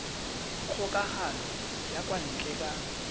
kgokagano ya kwa ntle ka